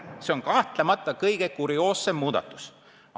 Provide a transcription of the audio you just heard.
See on kahtlemata kõige kurioossem muudatus.